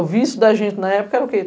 O vício da gente na época era o quê?